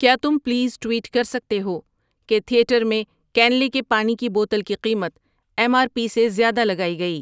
کیا تم please tweet کر سکتے ہو کہ تھیٹر میں کنلی کی پانی کی بوتل کی قیمت ایم آر پی سے زیادہ لگائی گئی